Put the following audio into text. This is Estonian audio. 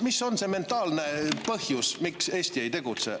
Mis on see mentaalne põhjus, miks Eesti ei tegutse?